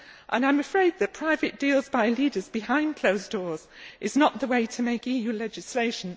I am afraid that private deals by leaders behind closed doors are not the way to make EU legislation.